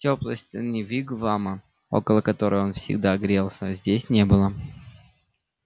тёплой стены вигвама около которой он всегда грелся здесь не было